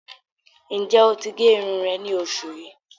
Níjẹ́ o tí gé irùn rẹ̀ ní oṣù yíí?